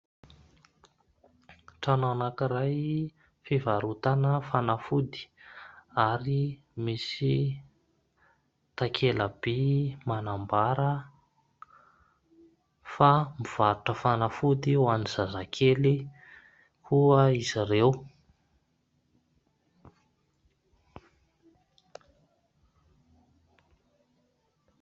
Trano anankiray fivarotana fanafody ary misy takela-bỳ manambara fa mivarotra fanafody ho an'ny zazakely koa izy ireo.